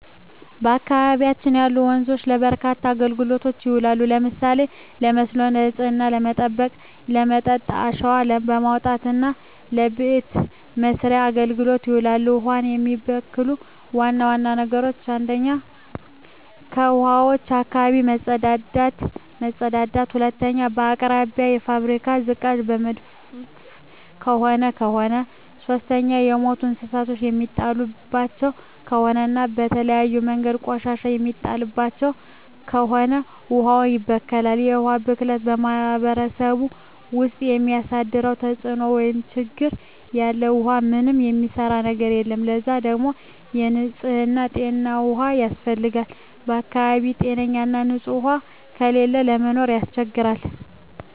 በአካባቢያችን ያሉ ወንዞች ለበርካታ አገልግሎቶች ይውላሉ። ለምሳሌ ለመስኖ፣ ንጽህናን ለመጠበቅ፣ ለመጠጥ፣ አሸዋ ለማውጣት እና ለበቤት መሥርያ አገልግሎት ይውላሉ። ውሀን የሚበክሉ ዋና ዋና ነገሮች 1ኛ ከውሀዋች አካባቢ መጸዳዳት መጸዳዳት 2ኛ በአቅራቢያው የፋብሪካ ዝቃጭ የሚደፍ ከሆነ ከሆነ 3ኛ የሞቱ እንስሳት የሚጣልባቸው ከሆነ እና በተለያዩ መንገዶች ቆሻሻ የሚጣልባቸው ከሆነ ውሀዋች ይበከላሉ። የውሀ ብክለት በማህረሰቡ ውስጥ የሚያደርሰው ተጽዕኖ (ችግር) ያለ ውሃ ምንም የሚሰራ ነገር የለም ለዛ ደግሞ ንጽህና ጤነኛ ውሃ ያስፈልጋል በአካባቢው ጤነኛ ና ንጽህ ውሃ ከሌለ ለመኖር ያስቸግራል።